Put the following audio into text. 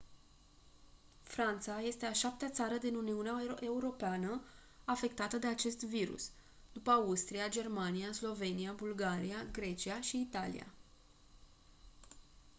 franța este a șaptea țară din uniunea europeană afectată de acest virus după austria germania slovenia bulgaria grecia și italia